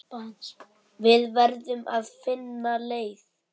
Við verðum að finna leið.